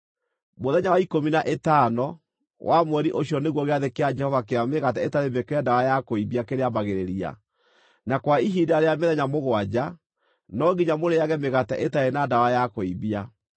Mũthenya wa ikũmi na ĩtano, wa mweri ũcio nĩguo gĩathĩ kĩa Jehova kĩa Mĩgate ĩtarĩ Mĩĩkĩre Ndawa ya Kũimbia kĩrĩambagĩrĩria, na kwa ihinda rĩa mĩthenya mũgwanja no nginya mũrĩĩage mĩgate ĩtarĩ na ndawa ya kũimbia.